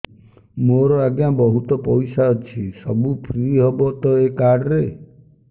ମୋର ଆଜ୍ଞା ବହୁତ ପଇସା ଅଛି ସବୁ ଫ୍ରି ହବ ତ ଏ କାର୍ଡ ରେ